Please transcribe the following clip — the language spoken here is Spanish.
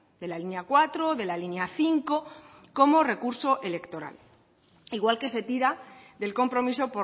de la línea cuatro de la línea cinco como recurso electoral igual que se tira del compromiso